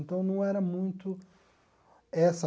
Então não era muito essa...